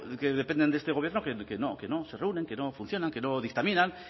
que dependen de este gobierno que no se reúnen que no funcionan que no dictaminan